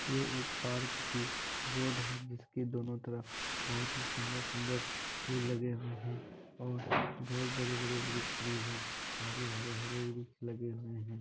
ये एक पार्क की रोड है जिसके दोनों तरफ बहुत ही सुन्दर सुन्दर फुल लगे हुए हैं और बहुत बड़े-बड़े वृक्ष भी हैं। काफी हरे-हरे वृक्ष लगे हुए हैं।